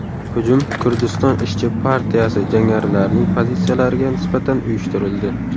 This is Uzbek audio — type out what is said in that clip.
Hujum Kurdiston ishchi partiyasi jangarilarining pozitsiyalariga nisbatan uyushtirildi.